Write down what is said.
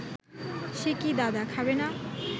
সে কি দাদা, খাবে না